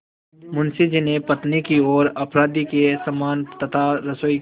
मुंशी जी ने पत्नी की ओर अपराधी के समान तथा रसोई की